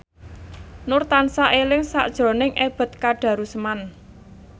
Nur tansah eling sakjroning Ebet Kadarusman